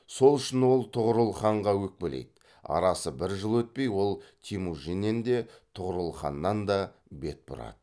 сол үшін ол тұғырыл ханға өкпелейді арасы бір жыл өтпей ол темужіннен де тұғырыл ханнан да бет бұрады